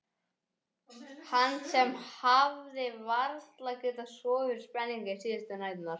Hann sem hafði varla getað sofið fyrir spenningi síðustu næturnar.